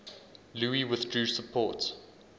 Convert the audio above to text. louis withdrew support